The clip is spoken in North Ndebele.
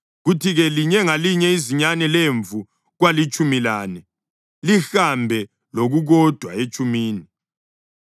kuthi-ke linye ngalinye izinyane lemvu kwalitshumi lane, lihambe lokukodwa etshumini.